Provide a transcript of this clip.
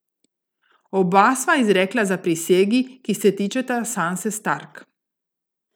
Oba sva izrekla zaprisegi, ki se tičeta Sanse Stark.